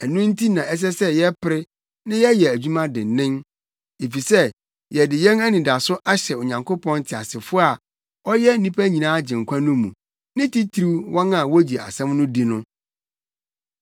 Ɛno nti na ɛsɛ sɛ yɛpere na yɛyɛ adwuma dennen, efisɛ yɛde yɛn anidaso ahyɛ Onyankopɔn teasefo a ɔyɛ nnipa nyinaa Agyenkwa no mu, ne titiriw wɔn a wogye asɛm no di no.